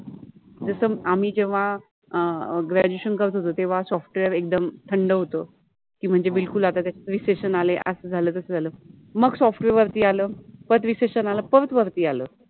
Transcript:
जस आम्हि जेव्हा आ अ ग्रॅज्युएशन {graduation} करत होतो तेव्हा सॉफ्टवेअर {software} एकदम थंड होत, मनजे बिल्कुल आता ते रेसेशन {resession} आलय अस झाल तस झाल, मग सॉफ्टवेअर {software} वरति आल, परत रेसेशन {resession} आल परत वरति आल.